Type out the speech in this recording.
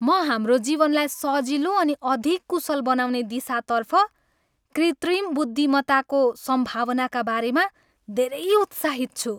म हाम्रो जीवनलाई सजिलो अनि अधिक कुशल बनाउने दिशातर्फ कृत्रिम बुद्धिमत्ताको सम्भावनाका बारेमा धेरै उत्साहित छु।